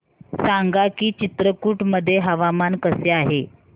सांगा की चित्रकूट मध्ये हवामान कसे आहे